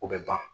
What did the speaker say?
O bɛ ban